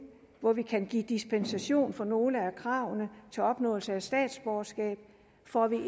hvor vi kan give dispensation fra nogle af kravene til opnåelse af statsborgerskab får vi